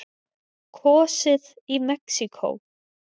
Kosið í Mexíkó